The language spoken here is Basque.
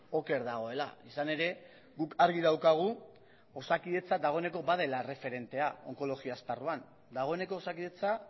oker dagoela izan ere guk argi daukagu osakidetza dagoeneko badela erreferentea onkologia esparruan dagoeneko osakidetza